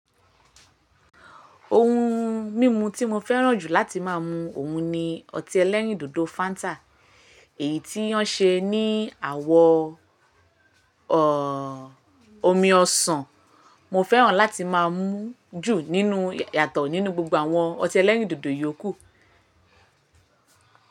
Ohun mímu tí mo fẹ́ràn jù láti má a mu òun ni ọtí ẹlẹ́rìndòdò Fanta. Èyí tí wán ṣe ní àwọ̀ ọ, omi ọsàn. Mo fẹ́ràn láti má a mu jú nínú yàtọ̀ nínú gbogbo àwọn ọtí ẹlẹ́rìndòdò yòókù.